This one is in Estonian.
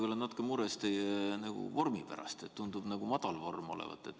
Ma olen natuke mures teie vormi pärast, teil tundub nagu kehv vorm olevat.